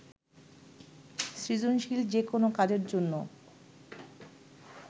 সৃজনশীল যেকোনো কাজের জন্য